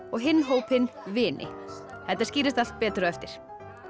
og hinn hópinn vini þetta skýrist allt betur á eftir